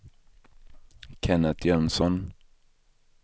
Kennet Jönsson